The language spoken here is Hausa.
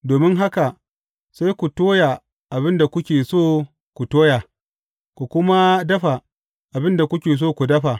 Domin haka sai ku toya abin da kuke so ku toya, ku kuma dafa abin da kuke so ku dafa.